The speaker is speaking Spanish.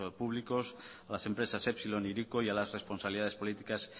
públicos a las empresas epsilon hiriko y a las responsabilidades políticas